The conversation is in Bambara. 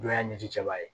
Dɔ y'a ɲɛji cɛba ye